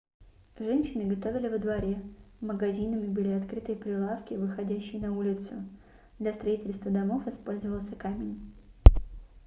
женщины готовили во дворе магазинами были открытые прилавки выходящие на улицу для строительства домов использовался камень